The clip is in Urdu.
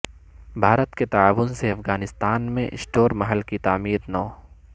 بھارت کے تعاون سے افغانستان میں ستور محل کی تعمیر نو